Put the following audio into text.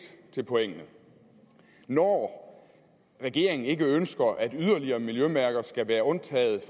til pointene når regeringen ikke ønsker at yderligere miljømærker skal være undtaget